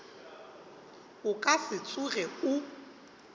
o ka se tsoge o